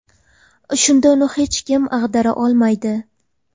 Shunda uni hech kim ag‘dara olmaydi.